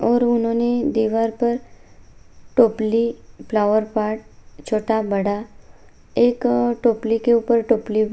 और उन्हॊने दीवार पर टोपली फ्लावर पॉट छोटा-बड़ा एक टोपली के ऊपर टोपली --